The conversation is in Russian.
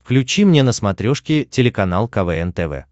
включи мне на смотрешке телеканал квн тв